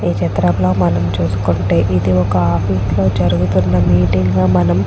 ఈ చిత్రంలో మనము చుస్కొంటే ఇది ఒక ఆఫీస్ జరుగుతూన మీటింగ్ లాగా మనం --